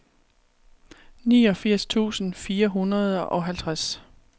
niogfirs tusind fire hundrede og halvtreds